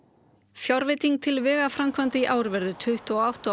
fjárveiting til vegaframkvæmda í ár verður tuttugu og átta og